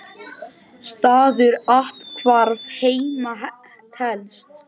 Staður athvarf heima telst.